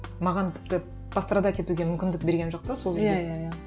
маған тіпті пострадать етуге мүмкіндік берген жоқ та сол жерде иә иә